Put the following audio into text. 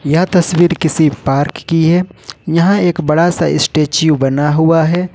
यह तस्वीर किसी पार्क की है यहां एक बड़ा सा स्टेचू बना हुआ है।